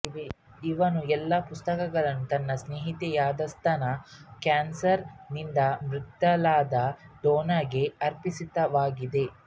ಇವನ ಎಲ್ಲಾ ಪುಸ್ತಕಗಳೂ ತನ್ನ ಸ್ನೇಹಿತೆಯಾದಸ್ತನ ಕ್ಯಾನ್ಸರ್ ನಿಂದ ಮೃತಳಾದ ಡೋನಾಗೆ ಅರ್ಪಿತವಾಗಿವೆ